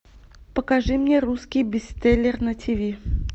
покажи мне русский бестселлер на тв